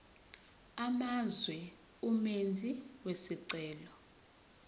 amazwe umenzi wesicelo